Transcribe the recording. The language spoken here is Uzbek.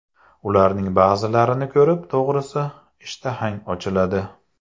Ularning ba’zilarini ko‘rib, to‘g‘risi, ishtahang ochiladi.